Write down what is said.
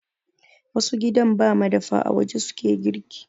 Wasu gidan ba madafa, a waje su ke girki.